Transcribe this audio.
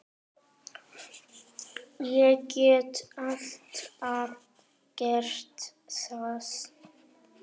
Ég get alltaf gert það.